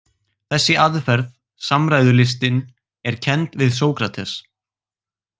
Þessi aðferð, samræðulistin, er kennd við Sókrates.